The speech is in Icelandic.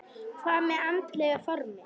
Hvað með andlega formið?